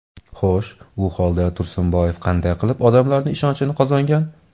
Xo‘sh, u holda Tursunboyev qanday qilib odamlarning ishonchini qozongan?